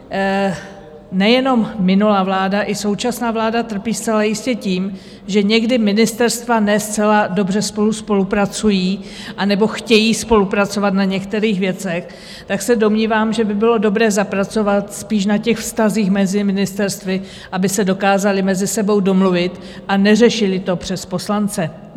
Nejenom minulá vláda, i současná vláda trpí zcela jistě tím, že někdy ministerstva ne zcela dobře spolu spolupracují anebo chtějí spolupracovat na některých věcech, tak se domnívám, že by bylo dobré zapracovat spíš na těch vztazích mezi ministerstvy, aby se dokázala mezi sebou domluvit a neřešila to přes poslance.